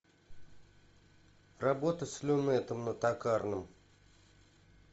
работа с люнетом на токарном